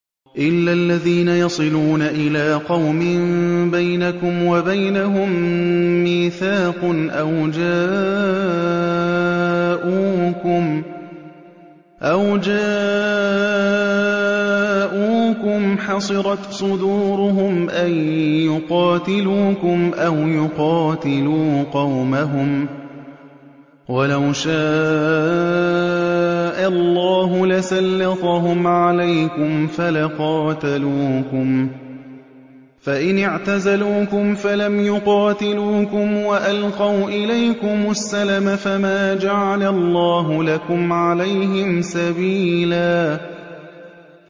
إِلَّا الَّذِينَ يَصِلُونَ إِلَىٰ قَوْمٍ بَيْنَكُمْ وَبَيْنَهُم مِّيثَاقٌ أَوْ جَاءُوكُمْ حَصِرَتْ صُدُورُهُمْ أَن يُقَاتِلُوكُمْ أَوْ يُقَاتِلُوا قَوْمَهُمْ ۚ وَلَوْ شَاءَ اللَّهُ لَسَلَّطَهُمْ عَلَيْكُمْ فَلَقَاتَلُوكُمْ ۚ فَإِنِ اعْتَزَلُوكُمْ فَلَمْ يُقَاتِلُوكُمْ وَأَلْقَوْا إِلَيْكُمُ السَّلَمَ فَمَا جَعَلَ اللَّهُ لَكُمْ عَلَيْهِمْ سَبِيلًا